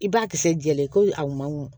I b'a kisɛ koyi a man mɔ